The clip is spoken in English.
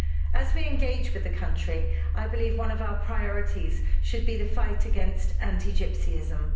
As we engage with the country, I believe one of our priorities should be the fight against anti gypsyism.